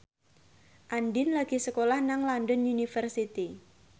Andien lagi sekolah nang London University